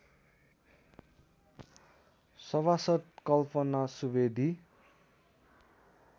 सभासद् कल्पना सुवेदी